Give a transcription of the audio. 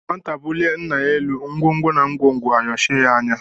Nwata bulie ńnà yá élú ngwongwo na ngwongwo ayochie ya anya.